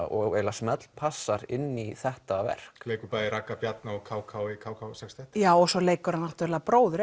og eiginlega smellpassar inn í þetta verk leikur bæði Ragga Bjarna og k k k k já og svo leikur hann bróður